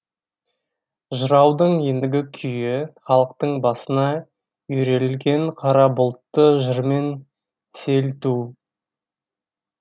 жыраудың ендігі күйі халықтың басына үйірелген қара бұлтты жырмен сейілту